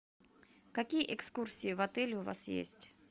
какие экскурсии в отеле у вас есть